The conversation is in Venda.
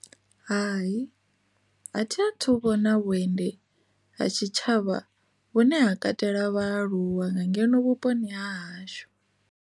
Hai, a thi a thu vhona vhuendi ha tshitshavha vhune ha katela vhaaluwa nga ngeno vhuponi ha hashu.